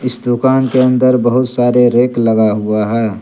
इस दुकान के अंदर बहुत सारे रैक लगा हुआ है।